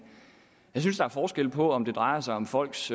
synes at der er forskel på om det drejer sig om folks